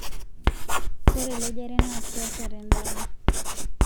Ore elejare naa keasa tendama